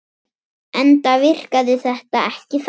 Enda virkaði þetta ekki þannig.